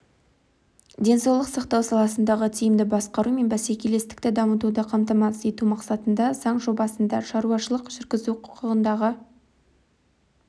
денсаулық сақтау саласындағы тиімді басқару мен бәсекелестікті дамытуды қамтамасыз ету мақсатында заң жобасында шаруашылық жүргізу құқығындағы